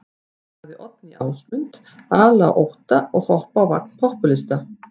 Sagði Oddný Ásmund ala á ótta og hoppa á vagn popúlista.